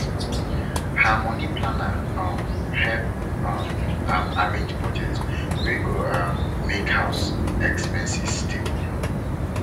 her money planner um help um am arrange budget wey go um make house expenses stable